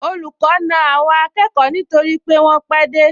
Olùkọ́ na àwọn akẹ́kọ̀ọ nítorí wọ́n pẹ́ dé